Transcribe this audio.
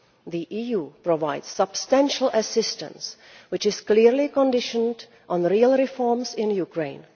The EU provides substantial assistance which is clearly conditional on real reforms in Ukraine.